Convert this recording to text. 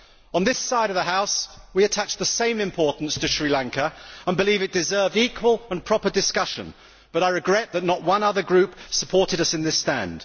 On this side of the House, we attach the same importance to Sri Lanka and believe it deserved equal and proper discussion, but I regret that not one other group supported us in this stand.